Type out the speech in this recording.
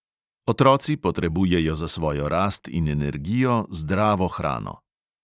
Otroci potrebujejo za svojo rast in energijo zdravo hrano.